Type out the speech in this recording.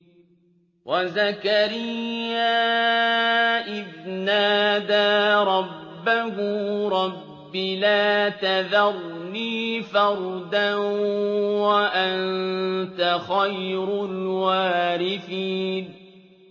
وَزَكَرِيَّا إِذْ نَادَىٰ رَبَّهُ رَبِّ لَا تَذَرْنِي فَرْدًا وَأَنتَ خَيْرُ الْوَارِثِينَ